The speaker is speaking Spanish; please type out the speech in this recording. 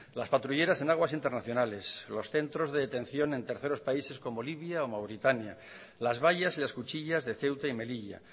las patrulleras en aguas internacionales los centros de detención en terceros países como libia o mauritania las vallas y las cuchillas de ceuta y melilla